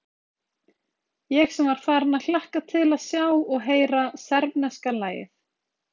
Ég sem var farinn að hlakka til að sjá og heyra serbneska lagið.